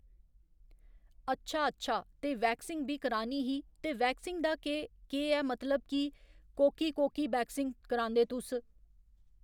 अच्छा अच्छा ते वैक्सिंग बी करानी ही ते वैक्सिंग दा केह् केह् ऐ मतलब की कोह्‌की कोह्‌की वैक्सिंग करांदे तुस ?